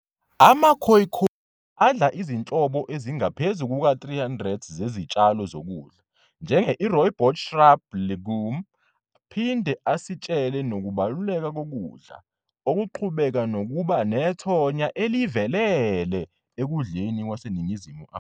AmaKhoikhoi adla izinhlobo ezingaphezu kuka-300 zezitshalo zokudla, njenge-i-rooibos shrub legume, aphinde asitshele nokubaluleka kokudla, okuqhubeka nokuba nethonya elivelele ekudleni kwaseNingizimu Afrika.